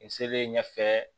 N selen ɲɛfɛ